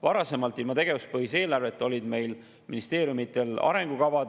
Varasemalt, ilma tegevuspõhise eelarveta olid ministeeriumidel arengukavad.